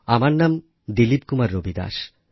আমার নাম দিলীপ কুমার রবিদাস